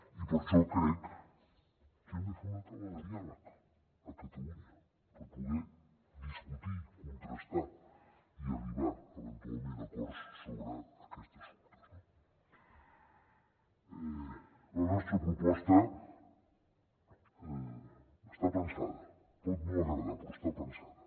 i per això crec que hem de fer una taula de diàleg a catalunya per poder discutir contrastar i arribar eventualment a acords sobre aquests assumptes no la nostra proposta està pensada pot no agradar però està pensada